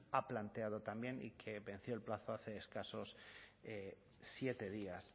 ha planteado también y que venció el plazo hace escasos siete días